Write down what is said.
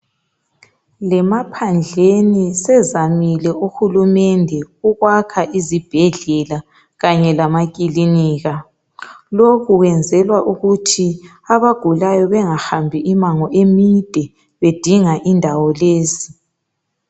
Lemaphandleni sezamile uhulumende ukwakha izibhedlela kanye lamakilinika lokhu kwenzelwa ukuthi abagulayo bengahambi imango emide bedinga indawo lezi.